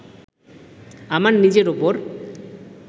আমার নিজের ওপর